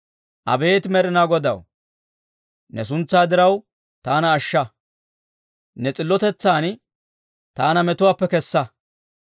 Abeet Med'inaa Godaw, ne suntsaa diraw, taana ashsha; ne s'illotetsan taana metuwaappe kessa.